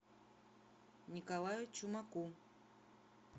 николаю чумаку